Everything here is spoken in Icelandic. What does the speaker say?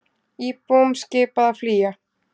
Íbúum skipað að flýja